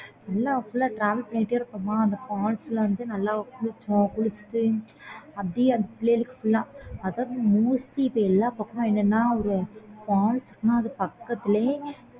எல்லாம் பண்ணிடே இருக்கோமா அந்த falls நல்ல குளிச்சிட்டு அப்பிடியே அந்த பிள்ளைகளுக்கு எல்லாம் ஒரு falls மாதிரி பக்கத்துலயே